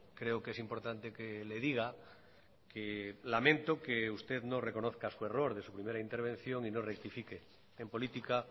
creo que es importante que le diga que lamento que usted no reconozca su error de su primera intervención y no rectifique en política